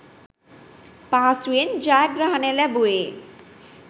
පහසුවෙන් ජයග්‍රහණය ලැබුවෙ.